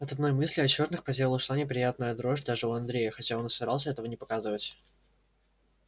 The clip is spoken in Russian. от одной мысли о чёрных по телу шла неприятная дрожь даже у андрея хотя он и старался этого не показывать